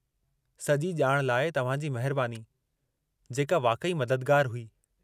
सॼी ॼाण लाइ तव्हां जी महिरबानी, जेका वाक़ई मददगारु हुई।